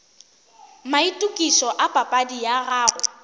maitokišo a papadi ya gago